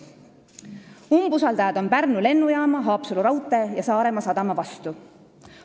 Umbusaldajad on Pärnu lennujaama, Haapsalu raudtee ja Saaremaa sadama vastu.